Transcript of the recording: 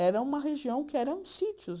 Era uma região que eram sítios.